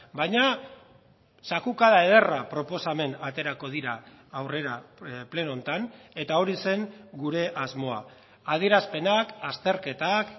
baina zakukada ederra proposamen aterako dira aurrera pleno honetan eta hori zen gure asmoa adierazpenak azterketak